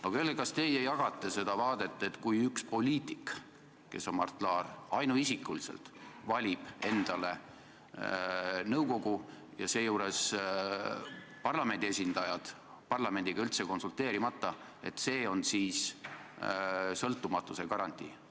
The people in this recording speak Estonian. Aga öelge, kas teie jagate seda seisukohta, et kui üks poliitik ehk siis Mart Laar ainuisikuliselt valib endale nõukogu ja seejuures parlamendiga üldse konsulteerimata, siis see on sõltumatuse garantii!